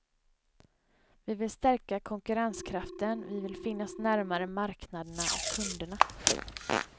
Vi vill stärka konkurrenskraften, vi vill finnas närmare marknaderna och kunderna.